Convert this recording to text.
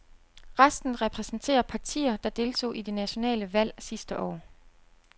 Resten repræsenterer partier, der deltog i de nationale valg sidste år.